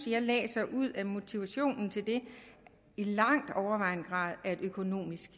jeg læser ud af det at motivationen til det i langt overvejende grad er økonomisk